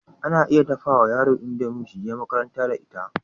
Ana iya dafawa yara idomie suje makaranta da ita